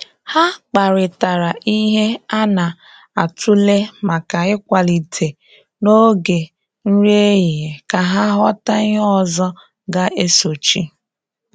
Ha kparịtara ihe a na-atụle maka ịkwalite n’oge nri ehihie ka ha ghọta ihe ọzọ ga-esochi.